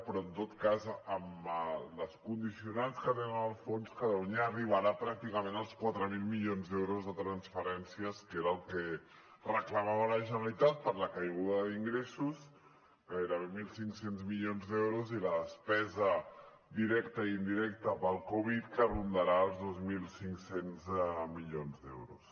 però en tot cas amb els condicionants que té el fons catalunya arribarà pràcticament als quatre mil milions d’euros de transferència que era el que reclamava la generalitat per la caiguda d’ingressos gairebé mil cinc cents milions d’euros i la despesa directa i indirecta pel covid que rondarà els dos mil cinc cents milions d’euros